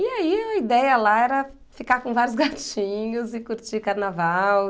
E aí a ideia lá era ficar com vários gatinhos e curtir carnaval.